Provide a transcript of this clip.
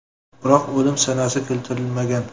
Biroq o‘lim sanasi keltirilmagan.